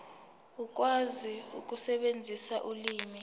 ukwazi ukusebenzisa ulimi